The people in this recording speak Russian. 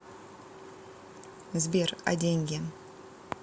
сбер а деньги